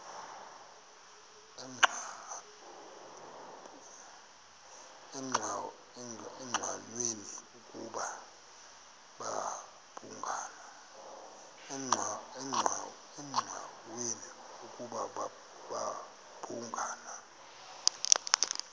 engqanweni ukuba babhungani